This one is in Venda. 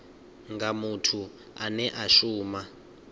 nga muthu ane a shuma